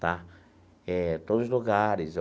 Tá? Eh todos os lugares.